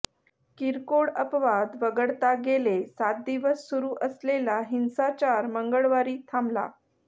किरकोळ अपवाद वगळता गेले सात दिवस सुरू असलेला हिंसाचार मंगळवारी थांबला